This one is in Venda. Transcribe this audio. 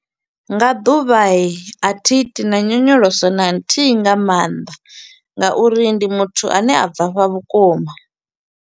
Nga ḓuvha a thi iti na nyonyoloso na nthihi nga maanḓa nga uri ndi muthu a ne a bvafha vhukuma.